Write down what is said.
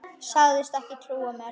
Sagðist ekki trúa mér.